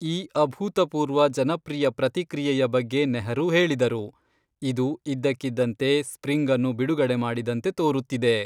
ಈ ಅಭೂತಪೂರ್ವ ಜನಪ್ರಿಯ ಪ್ರತಿಕ್ರಿಯೆಯ ಬಗ್ಗೆ ನೆಹರೂ ಹೇಳಿದರು, "ಇದು ಇದ್ದಕ್ಕಿದ್ದಂತೆ ಸ್ಪ್ರಿಂಗನ್ನು ಬಿಡುಗಡೆ ಮಾಡಿದಂತೆ ತೋರುತ್ತಿದೆ."